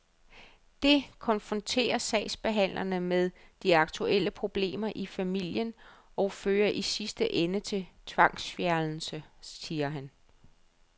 Det konfronterer sagsbehandlerne med de aktuelle problemer i familien og fører i sidste ende til tvangsfjernelse, siger han.